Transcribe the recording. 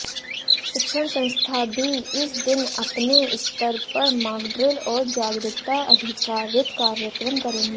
शिक्षण संस्थान भी इस दिन अपने स्तर पर मॉकड्रिल और जागरूकता आधारित कार्यक्रम करेंगे